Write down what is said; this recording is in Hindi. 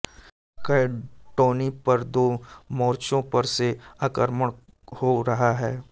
कैण्टोनी पर दो मोर्चों पर से आक्रमण हो रहा है